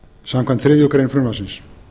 samkvæmt þriðju greinar frumvarpsins